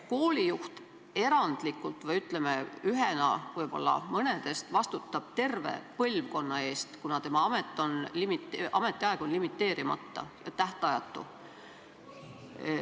Koolijuht erandlikult või ühena võib-olla mõnedest vastutab terve põlvkonna eest, kuna tema ametiaeg on limiteerimata, tähtajatu.